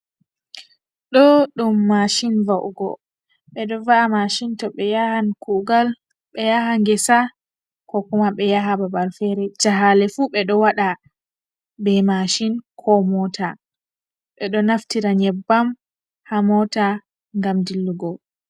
Do dum mashin va’ugo, be do va’a mashin to be yahan kugal, be yaha gesa, ko kuma be yaha babal fere, jahale fu be do wada be masin, ko mota.Be do naftira nyebbam ha mota gam dillugo.